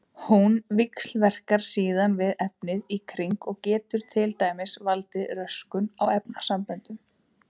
Hún víxlverkar síðan við efnið í kring og getur til dæmis valdið röskun á efnasamböndum.